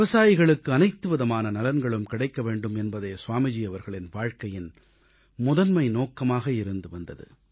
விவசாயிகளுக்கு அனைத்துவிதமான நலன்களும் கிடைக்கவேண்டும் என்பதே ஸ்வாமிஜி அவர்களின் வாழ்க்கையின் முதன்மை நோக்கமாக இருந்து வந்தது